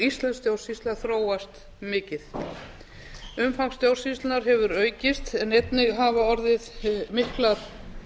íslensk stjórnsýsla þróast mikið umfang stjórnsýslunnar hafa aukist en einnig hafa orðið miklar